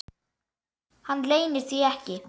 Hann leynir því ekki.